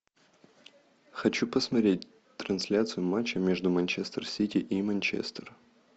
хочу посмотреть трансляцию матча между манчестер сити и манчестер